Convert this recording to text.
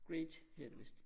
Great hedder det vist